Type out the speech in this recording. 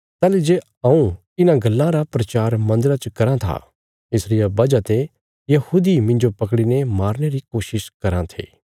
ताहली जे हऊँ इन्हां गल्लां रा प्रचार मन्दरा च कराँ था इस रिया वजह ते यहूदी मिन्जो पकड़ीने मारने री कोशिश कराँ थे